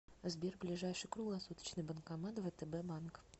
сбер ближайший круглосуточный банкомат втб банк